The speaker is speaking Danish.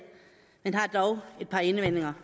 men har dog et par indvendinger